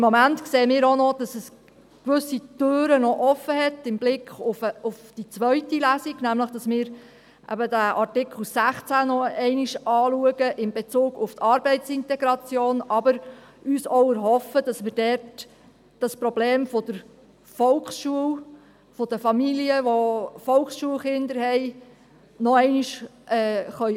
Im Moment sehen wir auch, dass noch gewisse Türen im Blick auf die zweite Lesung offenstehen, nämlich, dass wir Artikel 16 noch einmal in Bezug auf die Arbeitsintegration anschauen, aber uns auch erhoffen, dass wir dort das Problem von den Familien mit Volksschulkindern noch einmal angehen können.